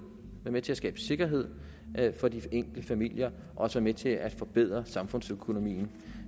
det med til at skabe sikkerhed for de enkelte familier og være med til at forbedre samfundsøkonomien